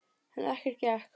En ekkert gekk.